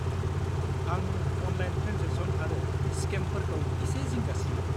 आं online transaction आरो स्केमफोरखौ एसे जिंगा सियो।